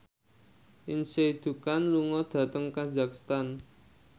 Lindsay Ducan lunga dhateng kazakhstan